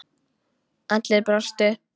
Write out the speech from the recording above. Allir brostu.